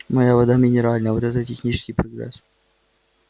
моя вода минеральная вот это технический прогресс